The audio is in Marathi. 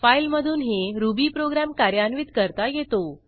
फाईलमधूनही रुबी प्रोग्रॅम कार्यान्वित करता येतो